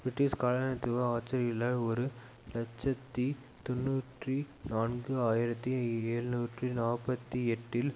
British காலனித்துவ ஆட்சியாளர்களால் ஒரு இலட்சத்தி தொன்னூற்றி நான்கு ஆயிரத்தி எழுநூற்று நாற்பத்தி எட்டில்